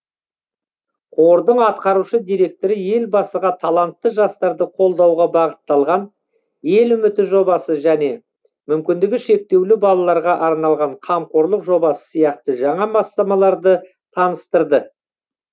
қордың атқарушы директоры елбасыға талантты жастарды қолдауға бағытталған ел үміті жобасы және мүмкіндігі шектеулі балаларға арналған қамқорлық жобасы сияқты жаңа бастамаларды таныстырды